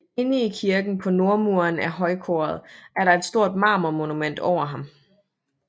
Inde i kirken på nordmuren af højkoret er der et stort marmor monument over ham